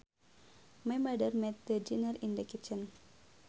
My mother made the dinner in the kitchen